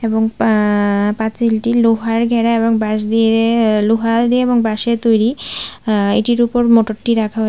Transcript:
এবং পাঁ পাঁচিলটি লোহার ঘেরা এবং বাঁশ দিয়ে লোহা দিয়ে এবং বাঁশের তৈরি আ এটির উপরে মটরটি রাখা হয়ে --